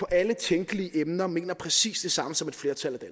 alle tænkelige emner mener præcis det samme som et flertal af